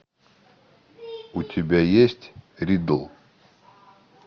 у тебя есть риддл